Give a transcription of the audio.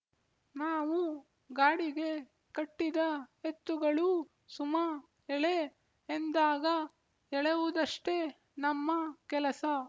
ನಾವು ಗಾಡಿಗೆ ಕಟ್ಟಿದ ಎತ್ತುಗಳೂ ಸುಮಾ ಎಳೆ ಎಂದಾಗ ಎಳೆಯುವುದಷ್ಟೆ ನಮ್ಮ ಕೆಲಸ